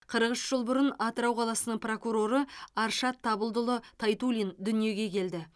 қырық үш жыл бұрын атырау қаласының прокуроры аршат табылдыұлы тайтуллин дүниеге келді